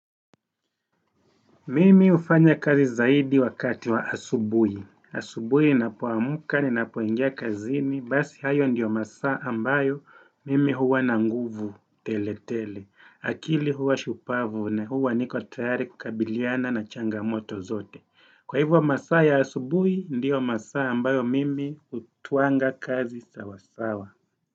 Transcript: Mimi ufanya kazi zaidi wakati wa asubui. Asubui nina poamuka ni na poingia kazini, basi hayo ndiyo masaa ambayo mimi huwa na nguvu tele tele. Akili huwa shupavu na huwa niko tayari kukabiliana na changamoto zote. Kwa hivyo masaa ya asubui ndiyo masaa ambayo mimi utuanga kazi sawasawa.